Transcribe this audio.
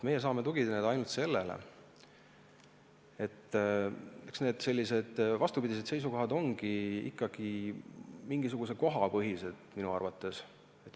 Meie saame tugineda ainult sellele, et eks need vastupidised seisukohad on ikkagi mingisuguse koha põhised, minu arvates.